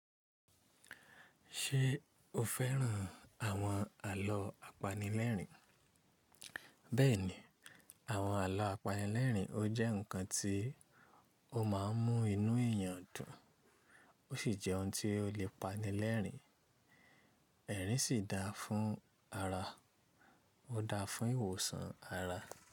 Ṣé o féràn àwọn àlọ́ apanilẹ́rìn? Bẹ́ẹ̀ni, àwọn àlọ́ apanilẹ́rìn ó jẹ́ ǹkan tí ó má ń mú inú eèyàn dùn, ó sì jẹ́ ohun tí ó lè pani lẹ́rìn, ẹ̀rín sì daa fún ara, ó daa fún ìwòsàn ara.